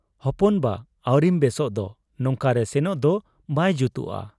ᱦᱚᱯᱚᱱ ᱵᱟ ᱟᱹᱣᱨᱤᱢ ᱵᱮᱥᱚᱜ ᱫᱚ ᱾ ᱱᱚᱝᱠᱟᱨᱮ ᱥᱮᱱᱚᱜ ᱫᱚ ᱵᱟᱭ ᱡᱩᱛᱚᱜ ᱟ ᱾